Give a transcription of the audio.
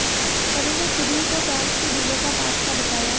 सभीने खुद ही को फैन्स के दिलों का बादशाह बताया